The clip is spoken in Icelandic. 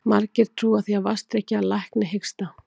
Margir trúa því að vatnsdrykkja lækni hiksta.